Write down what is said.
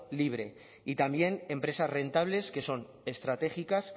libre y también empresas rentables que son estratégicas